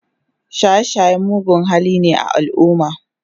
shaye shaye mugun hali ne a alumma